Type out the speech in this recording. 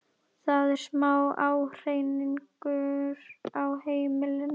Það er smá ágreiningur á heimilinu.